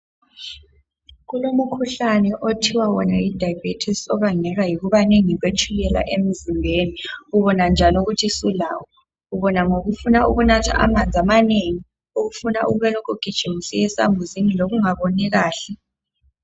Kulemkhuhlane othiwa wona yi diabetes bangelwa yikuwwnda kwetshukrla emzimbeni .Ubona njani ukuthi sulawo? Ubona ngokufuna ukunatha amanzi amanengi .Ukufuna ukulokhe ugijima usiye zlswmbuziji lokungaboni kahle .